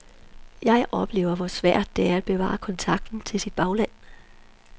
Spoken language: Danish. Jeg oplever hvor svært det er at bevare kontakten til sit bagland.